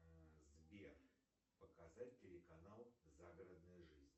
сбер показать телеканал загородная жизнь